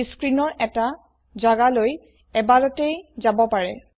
ই স্ক্ৰীণৰ এটা জাগালৈ এবাৰতেও যাব পাৰে